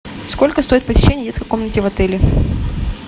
сколько стоит посещение детской комнаты в отеле